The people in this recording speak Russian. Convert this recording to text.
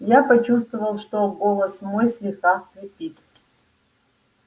я почувствовал что голос мой слегка хрипит